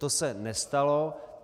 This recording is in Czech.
To se nestalo.